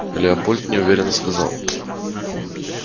лепольд неуверенно сказал